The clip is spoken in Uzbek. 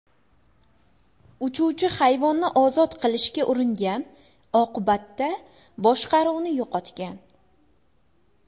Uchuvchi hayvonni ozod qilishga uringan, oqibatda boshqaruvni yo‘qotgan.